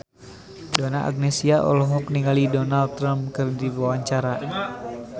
Donna Agnesia olohok ningali Donald Trump keur diwawancara